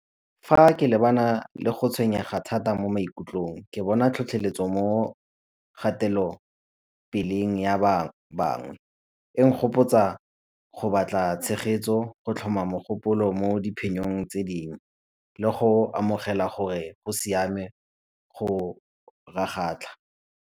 Fa lebana le go tshwenyega thata mo maikutlong ke bona tlhotlheletso mo kgatelopeleng ya bangwe. E nkgopotsa go batla tshegetso, go tlhoma mogopolo mo diphenyong tse dingwe le go amogela gore go siame go .